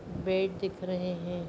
Bed दिख रहे है।